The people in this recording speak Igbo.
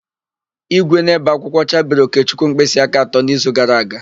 Ígwè na-ébè akwụkwọ chabiri Okechukwu mkpịsịaka atọ n'izu gara aga.